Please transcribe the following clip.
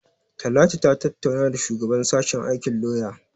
Talatu ta tattauna da shugaban sashen aikin lauya.